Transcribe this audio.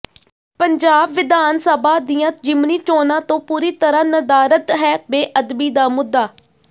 ਪੰਜਾਬ ਵਿਧਾਨਸਭਾ ਦੀਆਂ ਜਿਮਣੀ ਚੋਣਾਂ ਤੋਂ ਪੂਰੀ ਤਰ੍ਹਾਂ ਨਦਾਰਦ ਹੈ ਬੇਅਦਬੀ ਦਾ ਮੁੱਦਾ